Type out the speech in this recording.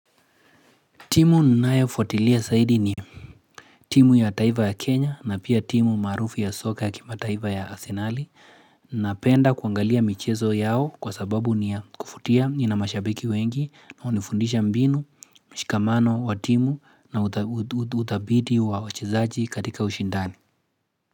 Timu ninayofuatilia zaidi ni timu ya taiva ya Kenya na pia timu maarufu ya soka kimataiva ya Asenali napenda kuangalia michezo yao kwa sababu ni kuvutia ina mashabiki wengi na hunifundisha mbinu mshikamano wa timu na utabidi wa wachezaji katika ushindani.